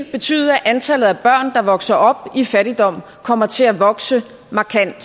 betyde at antallet af børn der vokser op i fattigdom kommer til at vokse markant og